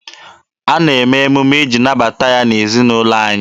A na-eme emume iji nabata ya n'ezinaụlọ anyị.